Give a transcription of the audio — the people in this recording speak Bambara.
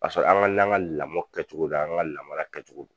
Ka sɔrɔ an ka l'an ka lamɔ kɛ cogola an ka lamara kɛ cogo.